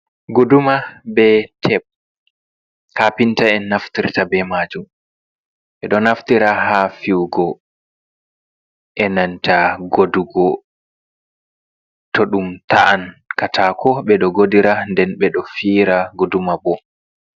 Guduma be teb, kaapinta `en naftirta be maajum, ɓe ɗo naftira haa fiwugo e nanta godugo, to ɗum ta’an kaataako ɓe ɗo godira, nden ɓe ɗo fi`ira guduma bo.